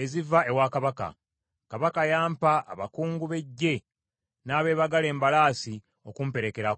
eziva ewa kabaka. Kabaka yampa abakungu b’eggye n’abeebagala embalaasi okumperekerako.